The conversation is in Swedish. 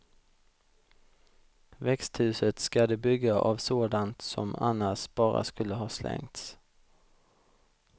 Växthuset ska de bygga av sådant som annars bara skulle ha slängts.